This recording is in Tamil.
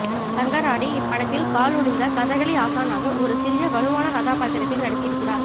சங்கராடி இப்படத்தில் கால் ஒடிந்த கதகளி ஆசானாக ஒரு சிறிய வலுவான கதாபாத்திரத்தில் நடித்திருக்கிறார்